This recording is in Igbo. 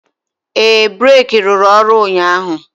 ee, breeki rụrụ ọrụ ụnyaahụ.